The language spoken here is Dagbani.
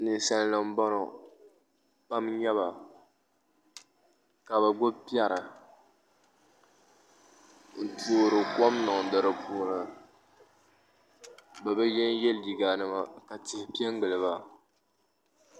ninsalinima m-bɔŋɔ pam n nyɛ ba ka bɛ gbibi piɛri n toori kom niŋdi di puuni bɛ bi yenye liiganima ka tihi pe n-gili ba